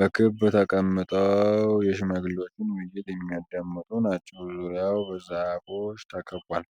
በክብ ተቀምጠው የሽማግሌዎችን ውይይት የሚያዳምጡ ናቸው። ዙሪያው በዛፎች ተከቧል።